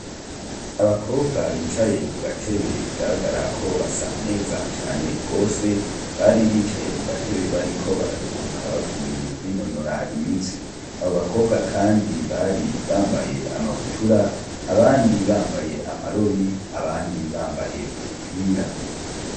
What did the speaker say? Abakobwa bicaye kugatebe bigaragara ko basa neza cane gose bari bicaye kugatebe bariko bararuhuka bavuye kwinonora imitsi abo bakobwa kandi bari bambaye amabutura abandi bambaye bambaye amarori abandi bambaye udupira.